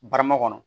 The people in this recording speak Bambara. Barama kɔnɔ